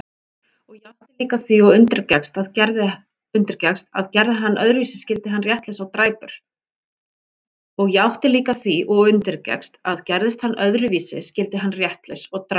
Og játti líka því og undirgekkst, að gerði hann öðruvísi skyldi hann réttlaus og dræpur.